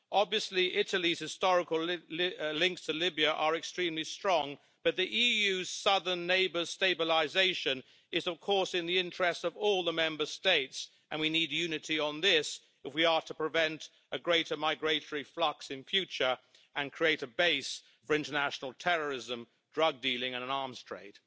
Obviously, Italy's historical links to Libya are extremely strong, but the EU's southern neighbour's stabilisation is, of course, in the interests of all the Member States, and we need unity on this if we are to prevent a greater migratory flux in future and the creation of a base for international terrorism, drug dealing and an arms trade.